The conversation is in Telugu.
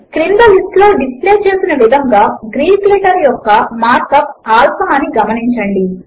క్రింద లిస్ట్ లో డిస్ప్లే చేసిన విధముగా గ్రీక్ లెటర్ యొక్క మార్క్ అప్ ఆల్ఫా అని గమనించండి